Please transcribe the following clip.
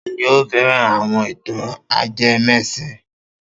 Ta ni ó fẹ́ran àwọn ìtàn ajẹmẹ́sìn?